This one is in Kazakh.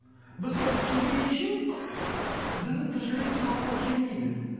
біз соны түсінбейінше біздің тіршілігіміз қалыпқа келмейді